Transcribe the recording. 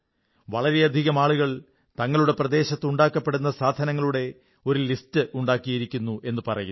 വളരെയധികം ആളുകൾ തങ്ങളുടെ പ്രദേശത്ത് ഉണ്ടാക്കപ്പെടുന്ന സാധനങ്ങളുടെ ഒരു ലിസ്റ്റ് ഉണ്ടാക്കിയിരിക്കുന്നു എന്നു പറയുന്നു